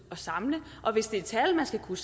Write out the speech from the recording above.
samle og hvis det er tal man skal kunne